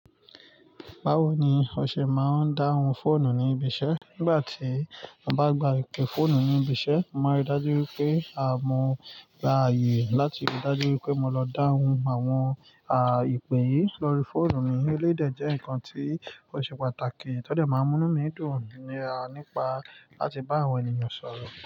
Báwo ni o ṣe máa ń dáhùn fóònù ní ibi iṣẹ́? Nígbà tí mo bá gba ìpè fóònù ní ibi iṣẹ́, mo máa rí i dájú pé a mó gbá ààyè láti rí dájú wipé mo lọ dáhùn àwọn à ìpè yìí lórí fóònù mi. Eléyi dẹ jẹ́ nǹkan tí ó ṣe pàtàkì. Ti o dẹ́ máa ń mú inu mí dùn nípa láti bá àwọn ènìyàn sọ̀rọ̀